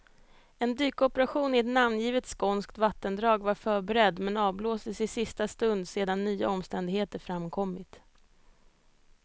En dykoperation i ett namngivet skånskt vattendrag var förberedd, men avblåstes i sista stund sedan nya omständigheter framkommit.